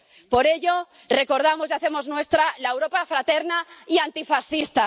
Por ello, recordamos y hacemos nuestra la Europa fraterna y antifascista.